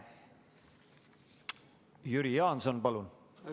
Jüri Jaanson, palun!